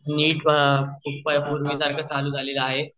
मी पह पूर्वी सारखे चालू झालेल आहे